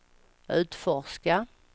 utforska